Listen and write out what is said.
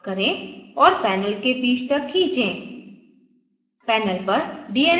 संरचना को zoom out करें और panel के बीच तक खींचें